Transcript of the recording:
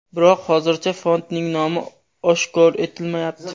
Biroq hozircha fondning nomi oshkor etilmayapti.